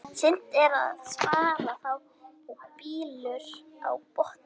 Seint er að spara þá bylur á botni.